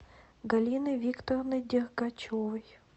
галины викторовны дергачевой